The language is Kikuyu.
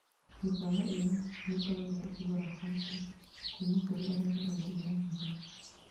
Mikawa ĩyo nĩikoragia ĩkĩgũra bangi kuma kũri aria mendagia na hitho